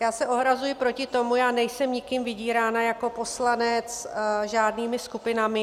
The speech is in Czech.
Já se ohrazuji proti tomu, já nejsem nikým vydírána jako poslanec, žádnými skupinami.